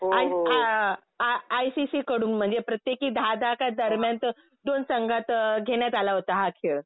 I A I C C कडून म्हणजे प्रत्येकी दहा दहा दरम्यांत दोन संघात घेण्यात आला होता हा खेळ .